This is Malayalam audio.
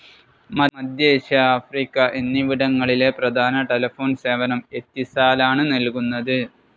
മധ്യേഷ്യ ആഫ്രിക്ക എന്നിവിടങ്ങളിലെ പ്രധാന ടെലിഫോൺ സേവനം എത്തിസാലാണ് നൽകുന്നത്.